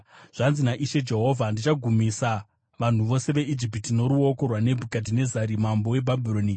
“ ‘Zvanzi naIshe Jehovha: “ ‘Ndichagumisa vanhu vose veIjipiti noruoko rwaNebhukadhinezari mambo weBhabhironi.